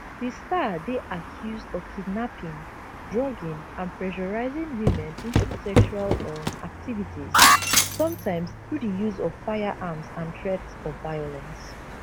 di star dey accused of kidnapping drugging and pressuring women into sexual um activities sometimes through di use of firearms and threats of violence